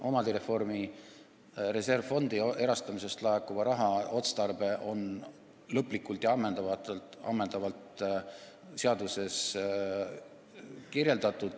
Omandireformi reservfondi erastamisest laekuva raha otstarve on lõplikult ja ammendavalt seaduses kirjeldatud.